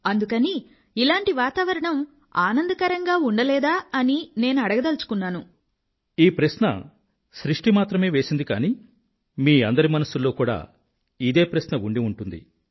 అందుకని ఇలాంటి వాతావరణం ఆనందకరంగా ఉండలేదా అని నేనడగదలుచుకున్నాను ఈ ప్రశ్న సృష్టి మాత్రమే వేసింది కానీ మీ అందరి మనసుల్లో కూడా ఇదే ప్రశ్న ఉండిఉంటుంది